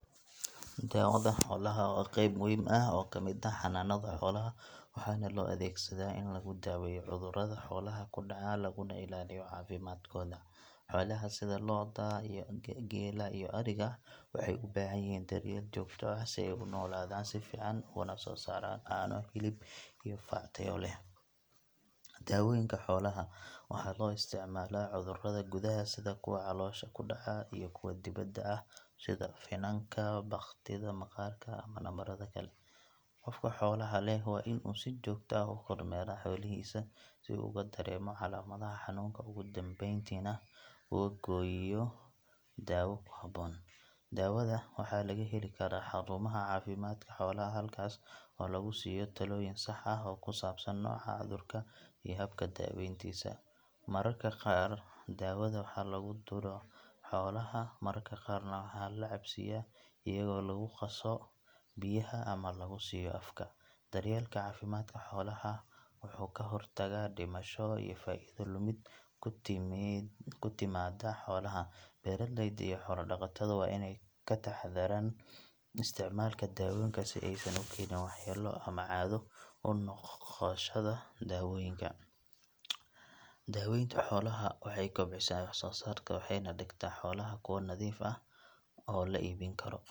Daawada xoolaha waa qayb muhiim ah oo ka mid ah xanaanada xoolaha waxaana loo adeegsadaa in lagu daaweeyo cudurrada xoolaha ku dhaca laguna ilaaliyo caafimaadkooda. Xoolaha sida lo’da, geela iyo ariga waxay u baahan yihiin daryeel joogto ah si ay u noolaadaan si fiican ugana soo saaraan caano, hilib iyo farac tayo leh. Daawooyinka xoolaha waxaa loo isticmaalaa cudurrada gudaha sida kuwa caloosha ku dhaca iyo kuwa dibadda ah sida finanka, bakhtida maqaarka ama nabarada kale. Qofka xoolaha leh waa inuu si joogto ah u kormeeraa xoolihiisa si uu uga dareemo calaamadaha xanuunka ugu dambeyntiina ugu geeyo daawo ku habboon. Daawada waxaa laga heli karaa xarumaha caafimaadka xoolaha halkaas oo lagu siiyo talooyin sax ah oo ku saabsan nooca cudurka iyo habka daaweyntiisa. Mararka qaar daawada waxaa lagu duro xoolaha, mararka qaarna waa la cabsiyaa iyadoo lagu qaso biyaha ama lagu siiyo afka. Daryeelka caafimaadka xoolaha wuxuu ka hortagaa dhimasho iyo faa’iido lumid ku timaada xoolaha. Beeraleyda iyo xoolo-dhaqatada waa inay ka taxadaraan isticmaalka daawooyinka si aysan u keenin waxyeello ama caado u noqoshada daawooyinka. Waxaa muhiim ah in la raaco tilmaamaha dhaqtar xoolaad si daawadu ugu shaqeyso si sax ah. Daaweynta xooluhu waxay kobcisaa waxsoosaarka waxayna ka dhigtaa xoolaha kuwo nadiif ah oo la iibin karo .